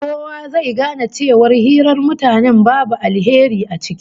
Kowa zai gane cewa hirar mutanen babu alheri ciki